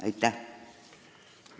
Aitäh!